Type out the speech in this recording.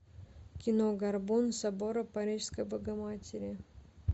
кино горбун собора парижской богоматери